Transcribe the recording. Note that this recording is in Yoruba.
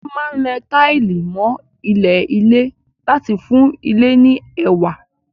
Wọ́n máa ń lẹ táìlì mọ́ ilẹ̀ ilé láti fún ilé ní ẹwà.